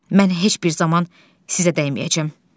Mən heç bir zaman sizə dəyməyəcəm.